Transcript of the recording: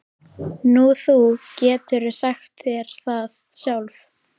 Nú, þú getur sagt þér það sjálf.